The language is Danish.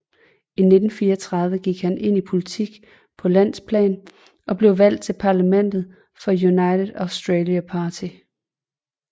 I 1934 gik han ind i politik på landsplan og blev valgt til parlamentet for United Australia Party